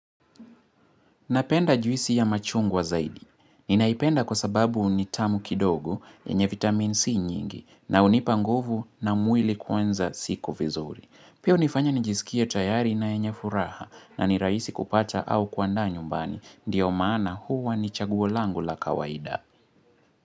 Napenda juisi ya machungwa zaidi. Ninaipenda kwa sababu nitamu kidogo, yenye vitamini C nyingi, na hunipanguvu na mwili kuanza siku vizuri. Pia hunifanya nijisikia tayari na yenye furaha, na nirahisi kupata au kuandaa nyumbani. Ndiyo maana huwa ni chaguo langu la kawaida.